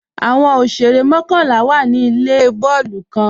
Awọn òṣèrè mọ̀kanlá wá ní ilẹ̀ bọọ̀lù kan.